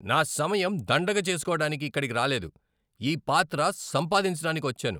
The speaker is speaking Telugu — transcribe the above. నా సమయం దండగ చేసుకోడానికి ఇక్కడికి రాలేదు! ఈ పాత్ర సంపాదించటానికి వచ్చాను.